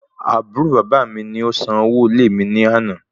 Àbúrò baba mi ni o san owó ilé ìwé mi ni àná